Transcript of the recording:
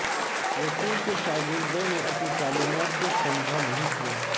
یسوع کے شاگردوں نے اپنی تعلیمات کو سمجھا نہیں کیا